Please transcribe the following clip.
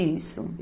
Isso.